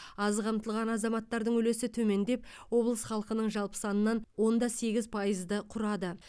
аз қамтылған азаматтардың үлесі төмендеп облыс халқының жалпы санынан он да сегіз пайызды құрады